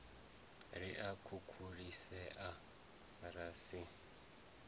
ri a khukhulisea ra si